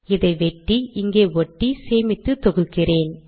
இதை வெட்டி இங்கே ஒட்டி சேமித்து தொகுக்கிறேன்